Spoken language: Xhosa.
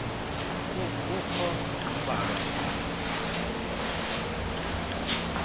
ukho ambalwa amathuba